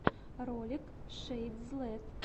ролик шэйдзлэт